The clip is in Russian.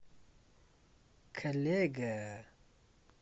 коллега